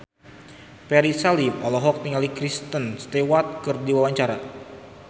Ferry Salim olohok ningali Kristen Stewart keur diwawancara